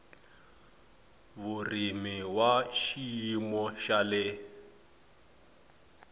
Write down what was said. vurimi wa xiyimo xa le